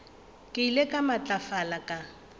e ile ya matlafala ka